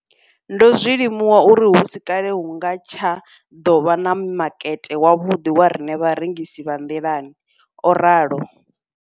Ndo ḓo zwi limuwa uri hu si kale hu nga tsha ḓo vha na makete wavhuḓi wa riṋe vharengisi vha nḓilani, o ralo.